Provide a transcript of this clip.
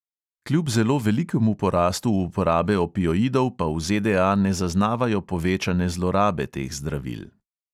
Kljub zelo velikemu porastu uporabe opioidov pa v ZDA ne zaznavajo povečane zlorabe teh zdravil.